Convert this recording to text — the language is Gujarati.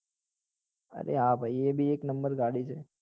અરે હા ભાઈ એ બી એક નંબર ગાડી છે